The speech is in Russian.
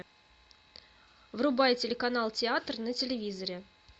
врубай телеканал театр на телевизоре